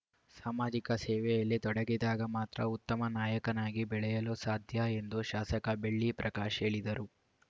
ಸಾಮಾಜಿಕ ಸೇವೆಯಲ್ಲಿ ತೊಡಗಿದಾಗ ಮಾತ್ರ ಉತ್ತಮ ನಾಯಕನಾಗಿ ಬೆಳೆಯಲು ಸಾಧ್ಯ ಎಂದು ಶಾಸಕ ಬೆಳ್ಳಿ ಪ್ರಕಾಶ್‌ ಹೇಳಿದರು